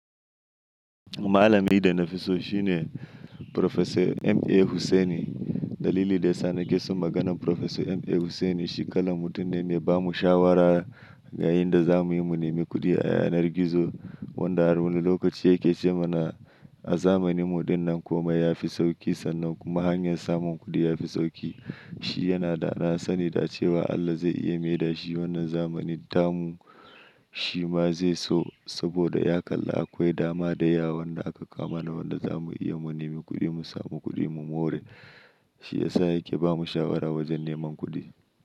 Malami da nafi so shine Professor M.A Hussaini. Dalilin da yasa nakeson maganan Professor M.A Hussaini shi kalan mutum ne, me bamu shawara yayinda zamuyi mu nemi kuɗi a yanar gizo wanda har wani lokaci yake ce mana a zamaninmu dinnan komai yafi sauƙi sannan kuma hanyar samun kuɗi yafi sauƙi. Shi yana danasani da cewa Allah zai iya maida shi wannan zamanin tamu shima zaiso saboda ya kalla akwai dama da yawa wanda aka kawo mana wanda zamu iya mu nemi kuɗi mu samu kuɗi mu more. Shiyasa yake bamu shawara wajen neman kuɗi.